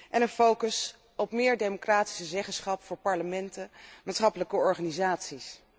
En een focus op meer democratische zeggenschap voor parlementen en maatschappelijke organisaties.